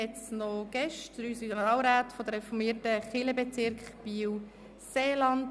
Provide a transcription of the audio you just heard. Es sind drei Synodalräte der reformierten Kirchenbezirke BielSeeland.